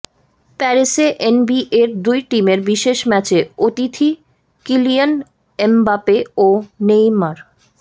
প্যারিসে এনবিএর দুই টিমের বিশেষ ম্যাচে অতিথি কিলিয়ান এমবাপে ও নেইমার